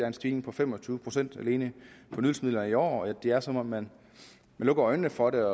en stigning på fem og tyve procent alene på nydelsesmidler i år det er som om man lukker øjnene for det